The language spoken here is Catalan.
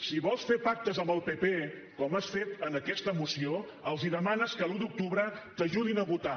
si vols fer pactes amb el pp com has fet en aquesta moció els demanes que l’un d’octubre t’ajudin a votar